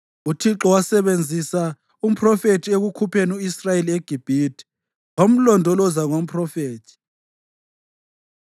UThixo wasebenzisa umphrofethi ekukhupheni u-Israyeli eGibhithe; wamlondoloza ngomphrofethi.